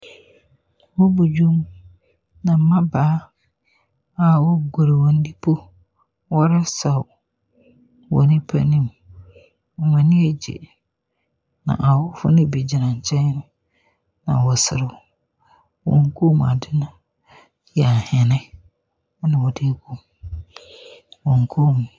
Wɔ bɔ dwom, na mbabaa wɔ guro wɔn dipo, wɔn saw wɔ nipa anim. Wɔn anigye na ahɔhoɔ no bi gyina nkyɛn na wɔ serew. awɔn kom ade no yɛ ahene pna wɔde ɛgu wɔn kom.